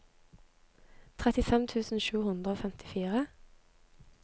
trettifem tusen sju hundre og femtifire